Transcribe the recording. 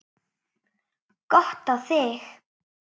Gott á þig.